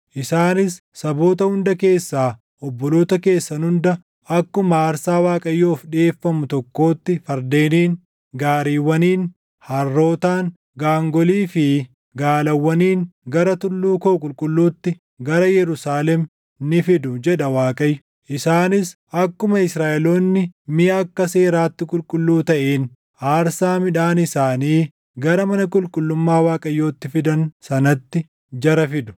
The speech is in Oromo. Isaanis saboota hunda keessaa obboloota keessan hunda akkuma aarsaa Waaqayyoof dhiʼeeffamu tokkootti fardeeniin, gaariiwwaniin, harrootaan, gaangolii fi gaalawwaniin gara tulluu koo qulqulluutti, gara Yerusaalem ni fidu” jedha Waaqayyo. “Isaanis akkuma Israaʼeloonni miʼa akka seeraatti qulqulluu taʼeen aarsaa midhaan isaanii gara mana qulqullummaa Waaqayyootti fidan sanatti jara fidu.